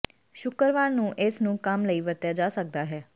ਸ਼ੁੱਕਰਵਾਰ ਨੂੰ ਇਸ ਨੂੰ ਕੰਮ ਲਈ ਵਰਤਿਆ ਜਾ ਸਕਦਾ ਹੈ